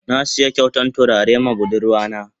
Na siya kyautan tulare ma budurwa na.